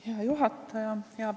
Hea juhataja!